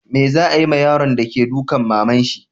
Me za'a yi ma yaron de ke dukan maman shi?